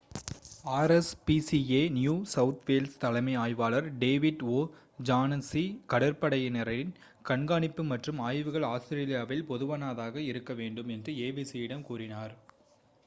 rspca New South Wales தலைமை ஆய்வாளர் David O'Shaughnessy கடற்படையினரின் கண்காணிப்பு மற்றும் ஆய்வுகள் ஆஸ்திரேலியாவில் பொதுவானதாக இருக்க வேண்டும் என்று abc யிடம் கூறினார்